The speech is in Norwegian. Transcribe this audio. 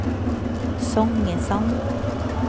Songesand